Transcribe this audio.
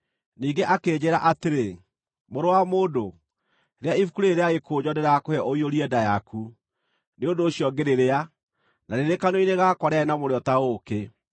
Ningĩ akĩnjĩĩra atĩrĩ, “Mũrũ wa mũndũ, rĩa ibuku rĩĩrĩ rĩa gĩkũnjo ndĩrakũhe ũiyũrie nda yaku.” Nĩ ũndũ ũcio ngĩrĩrĩa, na rĩrĩ kanua-inĩ gakwa rĩarĩ na mũrĩo ta ũũkĩ.